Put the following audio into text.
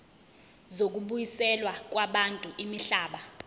zokubuyiselwa kwabantu imihlaba